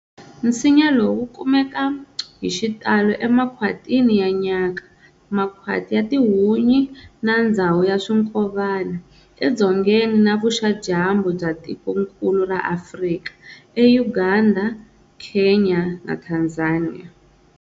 Nsinya lowu wu kumeka hixitalo emakwhatini ya nyaka, makhwati ya tihunyi na ndzawu ya swinkovana, eDzongeni na Vuxa-Dyambu bya tikonkulu ra Afrika, eUganda, Kenya na Tanzania.